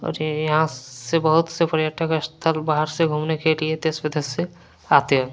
और यहाँ से बहुत से पर्यटक स्थल बाहर से घूमने के लिए देश से आते है।